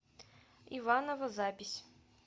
иваново запись